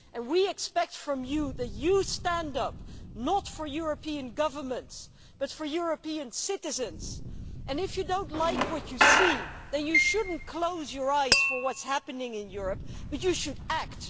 And we expect you to stand up, not for European governments, but for European citizens, and if you do not like what you see, then you should not close your eyes to what is happening in Europe, you should act.